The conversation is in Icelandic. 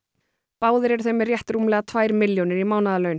báðir eru þeir með rétt rúmlega tvær milljónir í mánaðarlaun